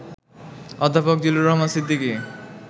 অধ্যাপক জিল্লুর রহমান সিদ্দিকী